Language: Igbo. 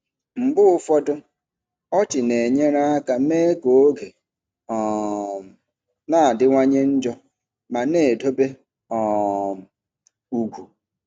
Mgbe ụfọdụ, ọchị na-enyere aka mee ka oge um na-adịwanye njọ ma na-edobe um ugwu.